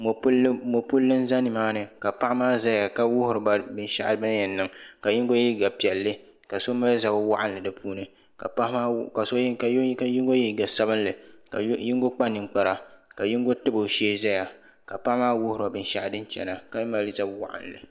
Mopilli n za nimaani ka paɣa maa zaya ka wuhiriba binshaɣu bini yen niŋ ka yinga ye liiga piɛlli ka so mali zab'waɣinli di puuni ka paɣa maa yingu ye liiga sabinli ka yingu kpa ninkpara ka yingu tabi o shee ʒɛya ka paɣa maa wuhiri o binshaɣu fin chena ka mali zab'waɣinli.